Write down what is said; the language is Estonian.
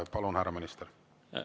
Palun, härra minister!